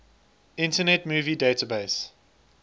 internet movie database